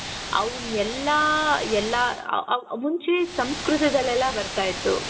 ಅವನ್ ಎಲ್ಲಾ ಎಲ್ಲಾ ಮುಂಚೆ ಸಂಸ್ಕೃತದಲ್ಲೆಲ್ಲಾ ಬರ್ತಾ ಇತ್ತು ಅವಾಗ